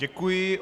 Děkuji.